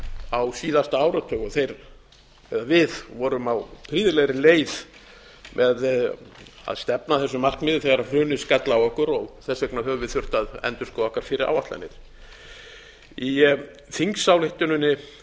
á síðustu áratugum við vorum á prýðilegri leið með að stefna að þessum markmiðum þegar hrunið skall á okkur og þess vegna höfum við þurft að endurskoða okkar fyrri áætlanir í þingsályktuninni er